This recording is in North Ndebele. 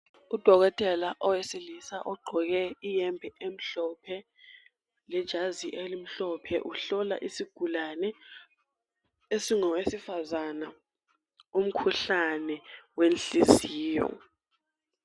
Udokotela owesilisa ogqoke iyembe emhlophe lejazi elimhlophe uhlola isigulane esingowesifazana umkhuhlane wenhliziyo.